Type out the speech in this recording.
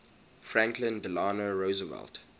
franklin delano roosevelt